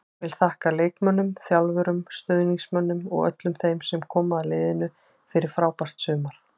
Vill þakka leikmönnum, þjálfurum, stuðningsmönnum og öllum þeim sem koma að liðinu fyrir frábært sumar.